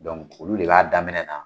Dɔnku olu de b'a daminɛ na.